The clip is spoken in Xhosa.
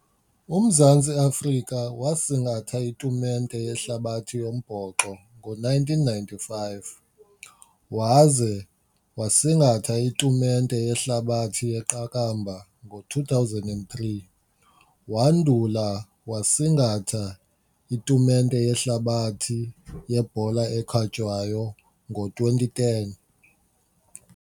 UMzantsi Afrika wasingatha itumente yehlabathi yombhoxo ngo-nineteen ninety-five waze wasingatha itumente yehlabathi yeqakamba ngo-two thousand and three, wandula wasingatha itumente yehlabathi yebhola ekhatywayo ngo-twenty ten.